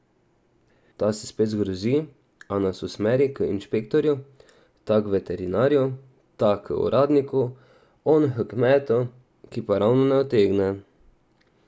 Ta se spet zgrozi, a nas usmeri k inšpektorju, ta k veterinarju, ta k uradniku, on h kmetu, ki pa ravno ne utegne...